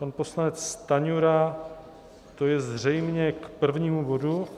Pan poslanec Stanjura, to je zřejmě k prvnímu bodu.